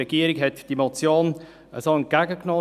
Die Regierung hat diese Motion so entgegengenommen.